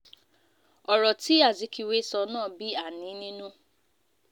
ọ̀rọ̀ tí azikiwe sọ náà bí àní nínú